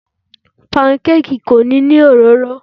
Panukeeki kò nílò òróró.